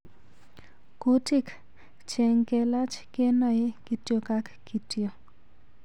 Kutik cheng kelach ngenae kityo ang kityo.